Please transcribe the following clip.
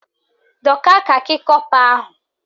Dọka kakị kọpa ahụ!